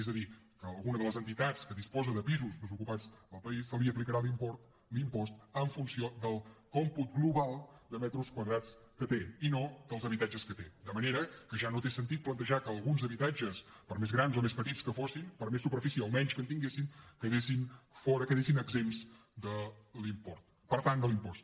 és a dir a alguna de les entitats que disposa de pisos desocupats al país se li aplicarà l’impost en funció del còmput global de metres quadrats que té i no dels habitatges que té de manera que ja no té sentit plantejar que alguns habitatges per més grans o més petits que siguin per més superfície o menys que tinguin quedin fora quedin exempts de l’impost